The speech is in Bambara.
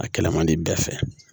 A kɛlɛ man di bɛɛ fɛ